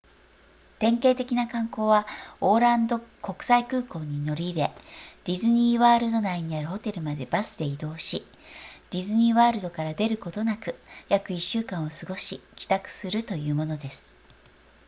典型的な観光はオーランド国際空港に乗り入れディズニーワールド内にあるホテルまでバスでに移動しディズニーワールドから出ることなく約1週間を過ごし帰宅するというものです